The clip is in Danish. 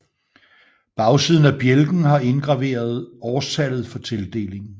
Bagsiden af bjælken har indgraveret årstallet for tildelingen